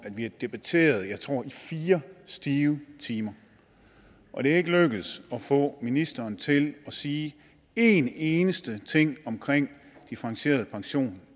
vi har debatteret jeg tror i fire stive timer og det er ikke lykkedes at få ministeren til at sige en eneste ting omkring differentieret pension